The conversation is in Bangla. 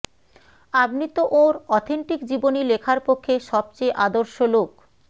আপনি তো ওঁর অথেন্টিক জীবনী লেখার পক্ষে সবচেয়ে আদর্শ লোক